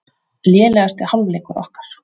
Lélegasti hálfleikur okkar